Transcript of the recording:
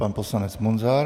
Pan poslanec Munzar.